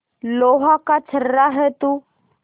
लोहा का छर्रा है तू